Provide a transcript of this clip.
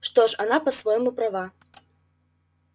что ж она по-своему права